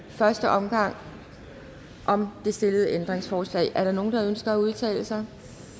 første omgang om det stillede ændringsforslag er der nogen der ønsker at udtale sig